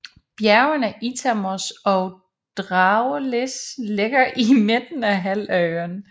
Bjergene Itamos og Dragoudelis ligger i midten af halvøen